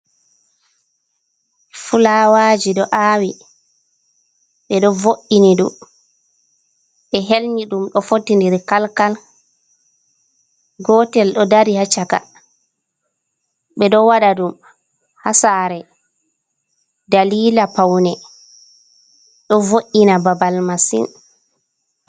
Flawaji do awi bedo voinidum be helnyidum do foti Kalkal, gotel do Dari ha chaka bedo wada dum ha sare dalila faune do voina babal masin.